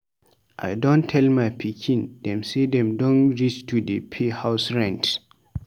I don tell my pikin dem sey dem don reach to dey pay house rent.